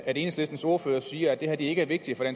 at enhedslistens ordfører siger at det her ikke er vigtigt